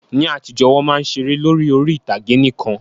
Ní àtijọ́, Wọ́n máa ń ṣeré lórí orí-ìtàgé nìkan